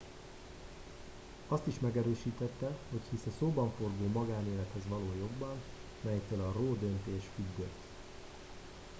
azt is megerősítette hogy hisz a szóbanforgó magánélethez való jogban melytől a roe döntés függött